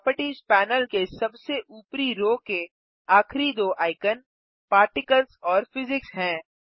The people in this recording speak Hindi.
प्रोपर्टिज़ पैनल के सबसे ऊपरी रो के आखिरी दो आइकन पार्टिकल्स और फिजिक्स हैं